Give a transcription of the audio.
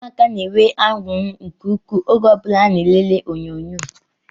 Ụmụaka na-enwe anuri nke ukwuu oge o bula ha na elele onyonyo